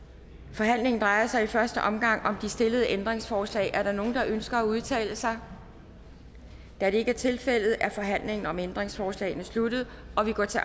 forhandlingen drejer sig i første omgang om de stillede ændringsforslag er der nogen der ønsker at udtale sig da det ikke er tilfældet er forhandlingen om ændringsforslagene sluttet og vi går til